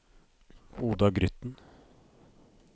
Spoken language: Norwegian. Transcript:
Oda Grytten